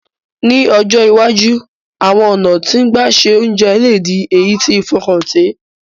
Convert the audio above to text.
Ní ọjọ́ iwájú, àwon ọ̀nà ti gbà se ounje le di èyí ti fọkàntẹ̀